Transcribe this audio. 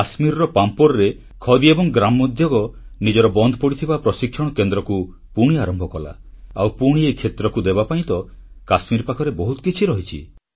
କାଶ୍ମୀରର ପାମ୍ପୋରରେ ଖଦୀ ଏବଂ ଗ୍ରାମୋଦ୍ୟୋଗ ନିଜର ବନ୍ଦ ପଡ଼ିଥିବା ପ୍ରଶିକ୍ଷଣ କେନ୍ଦ୍ରକୁ ପୁଣି ଆରମ୍ଭ କଲା ଆଉ ପୁଣି ଏହି କ୍ଷେତ୍ରକୁ ଦେବାପାଇଁ ତ କାଶ୍ମୀର ପାଖରେ ବହୁତ କିଛି ରହିଛି